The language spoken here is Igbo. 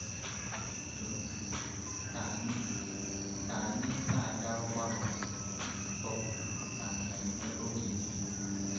N’ụzọ niile, ka anyị ka anyị na-aga ọgbakọ, nzukọ, na mmemme oge niile.